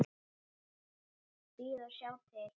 Bíða og sjá til.